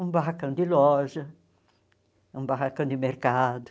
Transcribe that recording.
Um barracão de loja, um barracão de mercado.